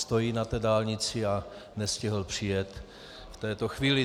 Stojí na té dálnici a nestihl přijet v této chvíli.